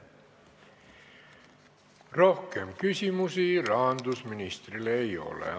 Rohkem rahandusministrile küsimusi ei ole.